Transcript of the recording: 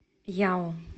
яо